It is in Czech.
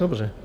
Dobře.